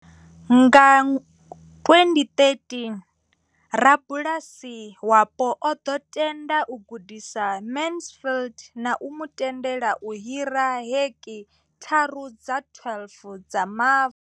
Nga 2013, rabulasi wapo o ḓo tenda u gudisa Mansfield na u mu tendela u hira heki thara dza 12 dza mavu.